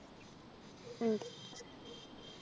ഉം